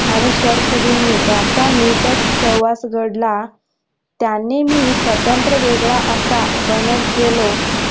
आणि शमशुद्धीननी याचा निटक सहवास घडला त्याने मी स्वतंत्र्य वेगळा असा बनत गेलो.